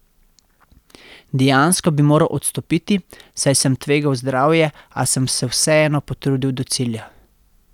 Dejansko bi moral odstopiti, saj sem tvegal zdravje, a sem se vseeno potrudil do cilja.